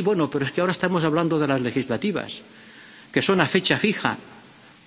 Sí, bueno, pero es que ahora estamos hablando de las legislativas, que son a fecha fija,